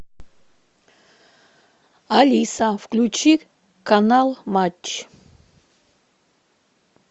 алиса включи канал матч